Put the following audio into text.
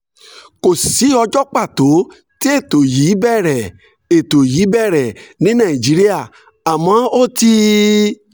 kò sí ọjọ́ pàtó tí ètò yìí bẹ̀rẹ̀ ètò yìí bẹ̀rẹ̀ ní nàìjíríà àmọ́ ó ti